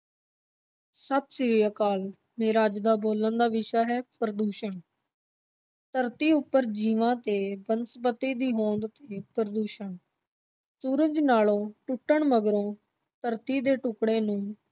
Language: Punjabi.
ਸਤਿ ਸ੍ਰੀ ਅਕਾਲ ਮੇਰਾ ਅੱਜ ਦਾ ਬੋਲਣ ਦਾ ਵਿਸ਼ਾ ਹੈ ਪ੍ਰਦੂਸ਼ਣ ਧਰਤੀ ਉੱਪਰ ਜੀਵਾਂ ਤੇ ਬਨਸਪਤੀ ਦੀ ਹੋਂਦ ਤੇ ਪ੍ਰਦੂਸ਼ਣ, ਸਰਜ ਨਾਲੋਂ ਟੁੱਟਣ ਮਗਰੋਂ ਧਰਤੀ ਦੇ ਟੁਕੜੇ ਨੂੰ